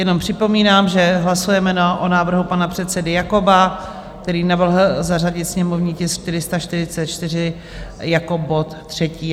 Jenom připomínám, že hlasujeme o návrhu pana předsedy Jakoba, který navrhl zařadit sněmovní tisk 444 jako bod třetí.